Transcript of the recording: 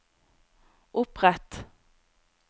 opprett